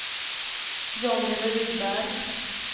Jonny Rydberg